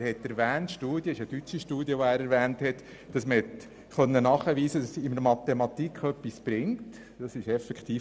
Er hat eine deutsche Studie erwähnt, die nachweist, dass zusätzliche Lektionen in Mathematik etwas bringen.